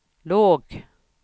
låg